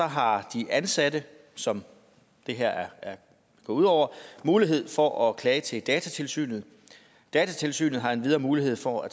har de ansatte som det her går ud over mulighed for at klage til datatilsynet datatilsynet har endvidere mulighed for at